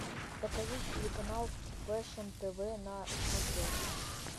покажи телеканал фэшн тв на смотрешке